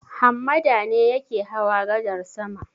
Hammada ne yake hawa gadar sama.